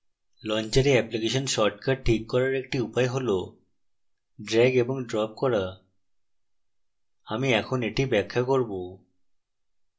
launcher application shortcuts ঠিক করার আরেকটি উপায় হল ড্রেগ এবং ড্রপ করা